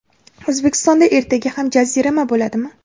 O‘zbekistonda ertaga ham jazirama bo‘ladimi?.